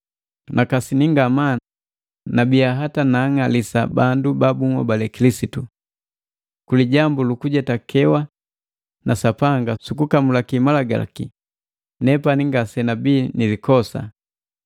Nakasini ngamaa nabiya hata naang'alisa bandu ba bunhobali Kilisitu. Kulijambu lukujetakewa na Sapanga sukukamulaki Malagalaki nepani ngasenabii nilikosa.